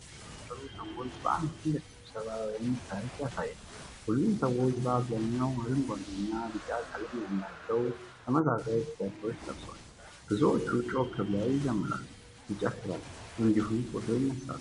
በሺዎች የሚቆጠሩ ሰዎችን በአንድ ትልቅ ስብስብ ወይም ሰልፍ ያሳያል። ሁሉም ሰዎች በአብዛኛው አረንጓዴና ቢጫ ቀለም ያላቸው ተመሳሳይ ቲ-ሸርቶች ለብሰዋል። ብዙዎቹ ጮክ ብለው ይዘምራሉ፣ ይጨፍራሉ እንዲሁም ፎቶ ያነሳሉ።